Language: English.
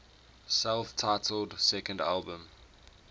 self titled second album